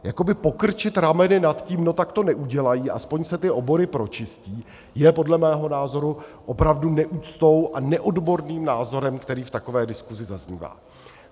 Jakoby pokrčit rameny nad tím, no tak to neudělají, aspoň se ty obory pročistí, je podle mého názoru opravdu neúctou a neodborným názorem, který v takové diskuzi zaznívá.